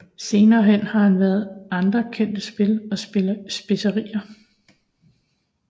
Senere hen har han lavet andre kendte spil og spilserier